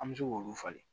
An bɛ se k'olu falen